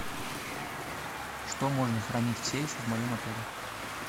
что можно хранить в сейфе в моем отеле